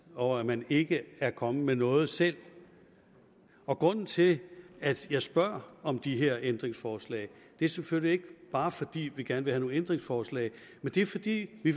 over at man ikke er kommet med noget selv og grunden til at jeg spørger om de her ændringsforslag er selvfølgelig ikke bare fordi vi gerne vil have nogle ændringsforslag men det er fordi vi